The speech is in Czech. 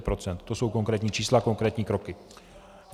To jsou konkrétní čísla, konkrétní kroky.